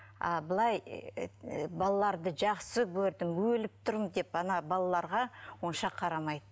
ааа былай балаларды жақсы көрдім өліп тұрмын деп ана балаларға онша қарамайды